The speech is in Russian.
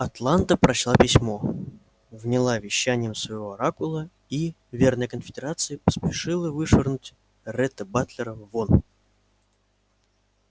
атланта прочла письмо вняла вещаниям своего оракула и верная конфедерации поспешила вышвырнуть ретта батлера вон